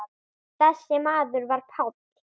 Þessi maður var Páll.